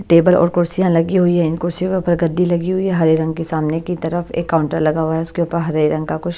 table और कुर्सियाँ लगी हुई हैं इन कुर्सियों के ऊपर गद्दी लगी हुई है हरे रंग के सामने की तरफ एक काउंटर लगा हुआ है उसके ऊपर हरे रंग का कुछ--